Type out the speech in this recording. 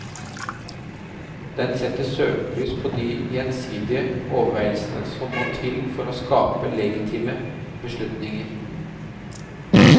Den setter søkelys på de gjensdige overveielsene som må til for å skape legitime beslutninger.